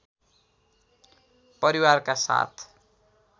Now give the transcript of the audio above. परिवारका साथ